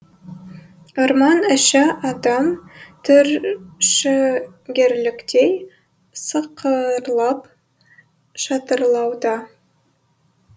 орман іші адам түршігерліктей сықырлап шатырлауда